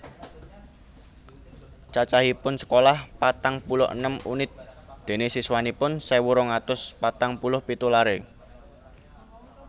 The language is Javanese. Cacahipun Sekolah patang puluh enem unit dene siswanipun sewu rong atus patang puluh pitu lare